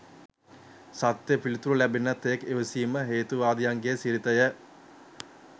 සත්‍ය පිළිතුර ලැබෙන තෙක් ඉවසීම හේතුවාදියන්ගේ සිරිතය.